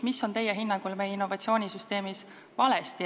Kas teie hinnangul on meie innovatsioonisüsteemis midagi valesti ja kui on, siis mis?